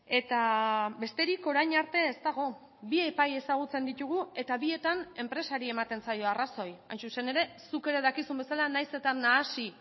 eta besterik orain arte ez dago bi epai ezagutzen ditugu eta bietan enpresari ematen zaio arrazoi hain zuzen ere zuk ere dakizun bezala nahiz eta nahasi